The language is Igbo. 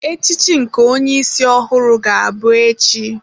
Echichi nke onye isi ọhụrụ ga-abụ echi.